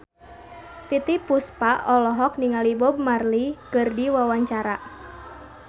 Titiek Puspa olohok ningali Bob Marley keur diwawancara